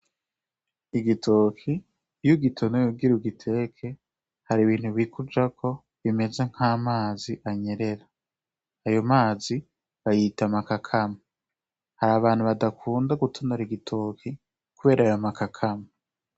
Igitoki iyo ugitonoye ugiteke hari ibintu bikujako bimeze nk'amazi anyerera ayo mazi bayita amakakama hari abantu badakunda gutonora igitoki kubera ayo makakama.